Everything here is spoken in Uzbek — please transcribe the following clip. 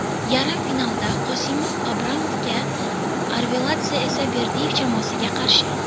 Yarim finalda Qosimov Abramovga, Arveladze esa Berdiyev jamoasiga qarshi.